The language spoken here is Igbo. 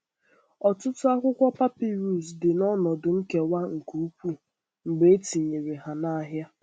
Ọtụtụ akwụkwọ papịrụs dị n’ọnọdụ nkewa nke ukwuu mgbe e tinyere tinyere ha n’ahịa.